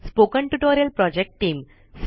spoken tutorial project team